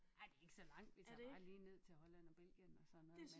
Ej ikke så langt vi tager bare lige ned til Holland og Belgien og sådan noget men